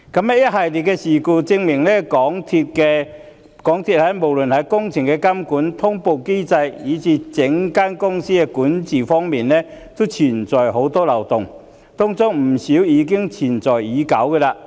一系列的事故證明港鐵公司無論在工程監管、通報機制，以至整體公司管治皆存在眾多漏洞，當中不少存在已久。